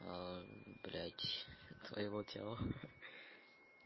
блядь твоего тела